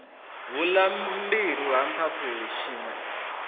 vhulaiwa mbilwi ha mphaphuli tshiṋwe